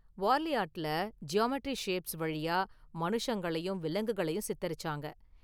வார்லி ஆர்ட்ல geometry shapes வழியா மனுஷங்களையும், விலங்குகளையும் சித்தரிச்சாங்க.